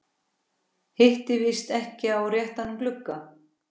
Hitti víst ekki á réttan glugga.